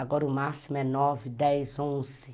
Agora o máximo é nove, dez, onze.